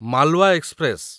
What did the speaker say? Malwa express